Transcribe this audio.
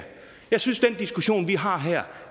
jeg synes at den diskussion vi har her